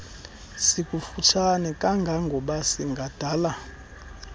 sikufutshane kangangoba singadala